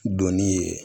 Donni ye